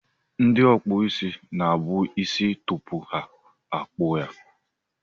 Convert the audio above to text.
Ndị ọkpụ isi na-abọ isi tupu ha akpụọ ya.